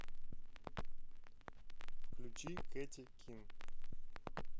включи кэти кин